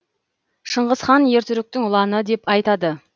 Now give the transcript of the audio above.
шыңғыс хан ер түріктің ұланы деп айтады